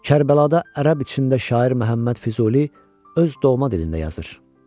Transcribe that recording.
Kərbəlada ərəb içində şair Məhəmməd Füzuli öz doğma dilində yazır.